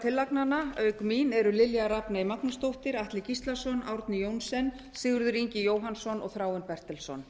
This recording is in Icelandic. tillagnanna auk mín eru lilja rafney magnúsdóttir atli gíslason árni johnsen sigurður ingi jóhannsson og þráinn bertelsson